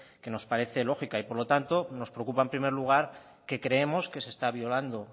que nos parece lógica y por lo tanto nos preocupa en primer lugar que creemos que se está violando